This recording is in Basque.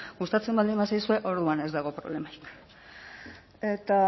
gustatzen baldin bazaizue orduan ez dago problemarik eta